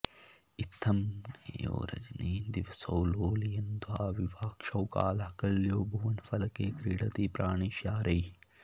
इत्थं नेयौ रजनिदिवसौ लोलयन्द्वाविवाक्षौ कालः कल्यो भुवनफलके क्रीडति प्राणिशारैः